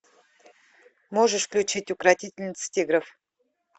можешь включить укротительница тигров